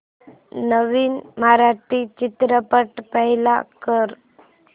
नवीन मराठी चित्रपट प्ले कर